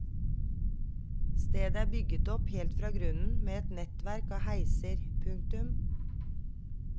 Stedet er bygget opp helt fra grunnen med et nettverk av heiser. punktum